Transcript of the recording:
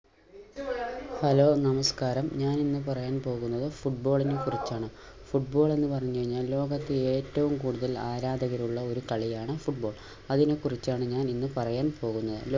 hello നമസ്‌കാരം ഞാൻ ഇന്ന് പറയാൻ പോകുന്നത് football നെ കുറിച്ചാണ് football എന്നു പറഞ്ഞു കഴിഞ്ഞാൽ ലോകത്ത് ഏറ്റവും കൂടുതൽ ആരാധകരുള്ള ഒരു കളിയാണ് football അതിനെ കുറിച്ചാണ് ഞാൻ ഇന്ന് പറയാൻ പോകുന്നത്